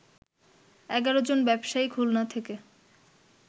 ১১ জন ব্যবসায়ী খুলনা থেকে